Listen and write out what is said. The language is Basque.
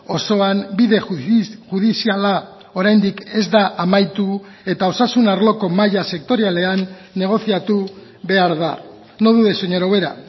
osoan bide judiziala oraindik ez da amaitu eta osasun arloko mahaia sektorialean negoziatu behar da no dude señora ubera